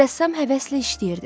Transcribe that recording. Rəssam həvəslə işləyirdi.